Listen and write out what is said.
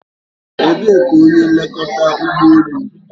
Ebee ka onye nlekọta ụgbọ elu nọ?